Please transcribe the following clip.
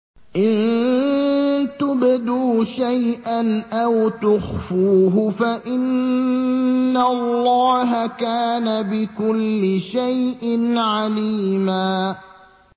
إِن تُبْدُوا شَيْئًا أَوْ تُخْفُوهُ فَإِنَّ اللَّهَ كَانَ بِكُلِّ شَيْءٍ عَلِيمًا